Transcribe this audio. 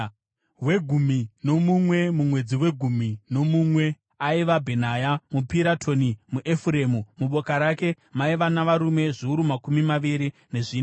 Wegumi nomumwe, mumwedzi wegumi nomumwe, aiva Bhenaya muPiratoni, muEfuremu. Muboka rake maiva navarume zviuru makumi maviri nezvina.